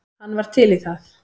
Hann var til í það.